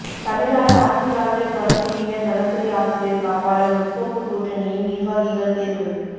தமிழ்நாடு ஆதிதிராவிடர் பழங்குடியினர் நலத்துறை ஆசிரியர் காப்பாளர் முற்போக்கு கூட்டணியின் நிர்வாகிகள் தேர்வு